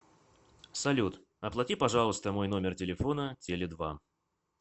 салют оплати пожалуйста мой номер телефона теле два